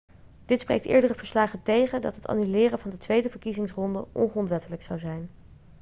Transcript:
dit spreekt eerdere verslagen tegen dat het annuleren van de tweede verkiezingsronde ongrondwettelijk zou zijn